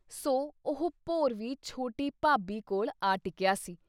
ਸੋ ਉਹ ਭੌਰ ਵੀ ਛੋਟੀ ਭਾਬੀ ਕੋਲ ਆ ਟਿਕਿਆ ਸੀ।